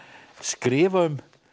skrifa um